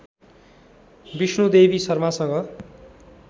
Vishnudevi शर्मासँग